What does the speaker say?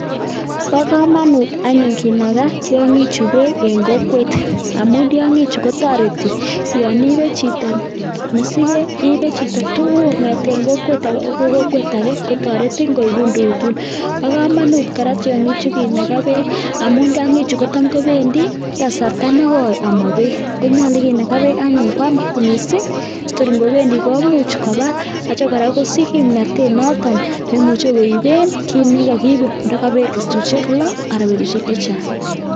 Bokomonut anyun kinakaa tyongik chuu beek en kokwet amun tyongik chuu kotoreti yon ibechito mosiket iibe chito tukuk kongeten kokwet agee okoi kokwet age kotoretin koibun tukuk tukul .Bokomonut kora tyongik chuu kinakaa beek amun tyongik chuu kotam kobendii kasarta nokoi amoo beek konyolu kinakaa beek anyun kwam missing tor ingopendi komuch koba yoche Koraa kosich kipnotet noton neimuche koibeni kit nekokibe ndio ko betushek loo ana betushek chechang.